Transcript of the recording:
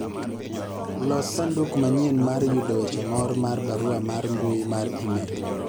los sanduk manyien mar yudo weche moor mar barua mar mbui mar email